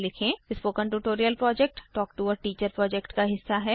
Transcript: spoken tutorial project talk to a teacher project का हिस्सा है